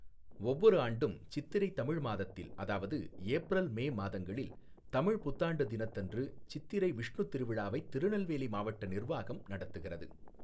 ஒவ்வொரு ஆண்டும் சித்திரை தமிழ் மாதத்தில் அதாவது ஏப்ரல் மே மாதங்களில் தமிழ் புத்தாண்டு தினத்தன்று சித்திரை விஷ்ணு திருவிழாவைத் திருநெல்வேலி மாவட்ட நிர்வாகம் நடத்துகிறது.